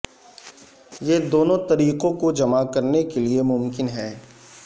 یہ دونوں طریقوں کو جمع کرنے کے لئے ممکن ہے